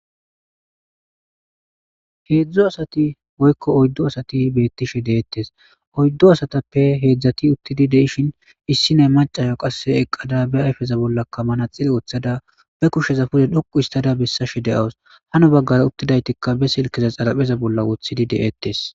Heedzdzo asati woykko oyddo asati beettishe deettes oyddo asatappe heedzdzati uttidi deishin issi ney macaso qasse eqqada be ayfeza bollakka mana xile woththada be kushsheza fude dhoqu istada bessashe de'awus hano baggara uttidaytikka be silkeza xarapheza bolla woothidi de'eettes.